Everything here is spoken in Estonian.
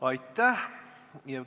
Aitäh!